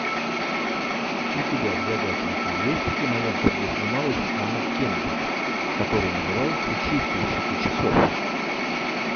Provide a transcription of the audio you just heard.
у тебя в загашнике есть кинолента где снималась анна кендрик которая называется чистильщики часов